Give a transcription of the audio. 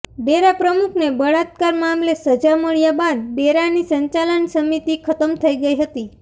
ડેરા પ્રમુખને બળાત્કાર મામલે સજા મળ્યા બાદ ડેરાની સંચાલન સમિતિ ખતમ થઈ ગઈ હતી